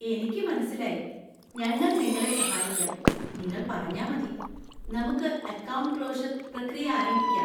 എനിക്ക് മനസിലായി. ഞങ്ങൾ നിങ്ങളെ സഹായിക്കം. നിങ്ങള്‍ പറഞ്ഞാ മതി, നമുക്ക് അക്കൗണ്ട് ക്ലോഷര്‍ പ്രക്രിയ ആരംഭിക്കാം.